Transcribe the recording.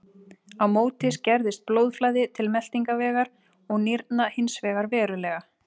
Á móti skerðist blóðflæði til meltingarvegar og nýrna hins vegar verulega.